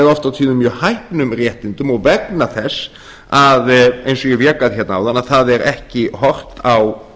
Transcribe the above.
oft og tíðum mjög hæpnum réttindum og vegna þess eins og ég vék að hérna áðan að það er ekki horft á